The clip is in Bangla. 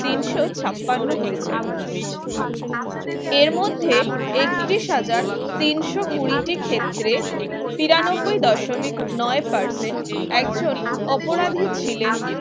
তিনশ ছাপ্পান্ন হয়েছে এর মধ্যে একত্রিশ হাজার তিন কুড়িটি ক্ষেত্রে তিরানব্বই Percent একজন অপরাধী ছিলেন